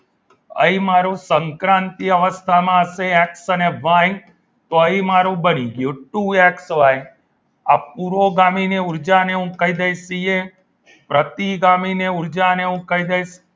અહીં મારું સંક્રાંતિ અવસ્થામાં હશે એક્સ અને વાય તો અહીં મારું બની ગયું ટુ એક્સ વાય આ પુરોગામીની ઉર્જા ને હું કહી દઈશ પ્રતિગામીની ઉર્જા ની હું કહી દઈશ